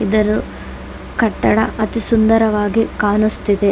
ಇದರು ಕಟ್ಟಡ ಅತಿ ಸುಂದರವಾಗಿ ಕಾಣುಸ್ತಿದೆ .